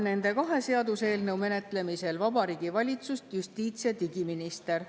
Nende kahe seaduseelnõu menetlemisel Riigikogus esindab Vabariigi Valitsust justiits‑ ja digiminister.